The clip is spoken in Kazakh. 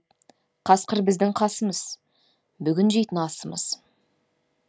қасқыр біздің қасымыз бүгін жейтін асымыз